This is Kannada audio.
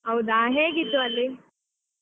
ಹೌದಾ ಹೇಗಿತ್ತು ಅಲ್ಲಿ?